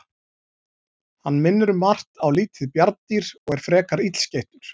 Hann minnir um margt á lítið bjarndýr og er frekar illskeyttur.